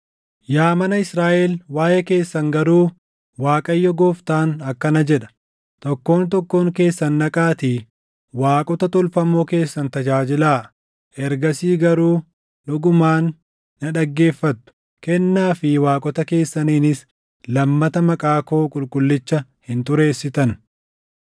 “ ‘Yaa mana Israaʼel waaʼee keessan garuu Waaqayyo Gooftaan akkana jedha: Tokkoon tokkoon keessan dhaqaatii waaqota tolfamoo keessan tajaajilaa! Ergasii garuu dhugumaan na dhaggeeffattu; kennaa fi waaqota keessaniinis lammata maqaa koo qulqullicha hin xureessitan.